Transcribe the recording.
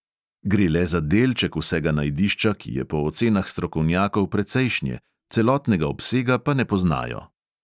Gre le za delček vsega najdišča, ki je po ocenah strokovnjakov precejšnje, celotnega obsega pa ne poznajo.